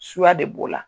Suya de b'o la